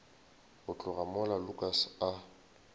go tloga mola lukas a